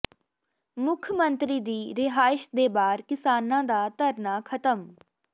ਮੁੱਖ ਮੰਤਰੀ ਦੀ ਰਿਹਾਇਸ਼ ਦੇ ਬਾਹਰ ਕਿਸਾਨਾਂ ਦਾ ਧਰਨਾ ਖਤਮ